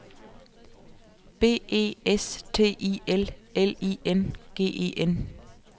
B E S T I L L I N G E N